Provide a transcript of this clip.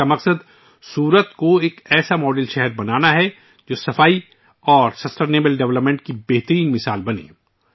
اس کا مقصد سورت کو ایک ماڈل شہر بنانا ہے ، جو صفائی ستھرائی اور پائیدار ترقی کی ایک بہترین مثال بن جائے